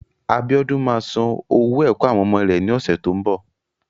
Abíódún ma san owó ẹ̀kọ́ àwọn ọmọ rẹ́ ní ọ̀sẹ̀ tó ń bọ̀.